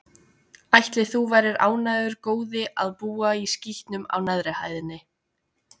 Ætli þú værir ánægður, góði, að búa í skítnum á neðri hæðinni?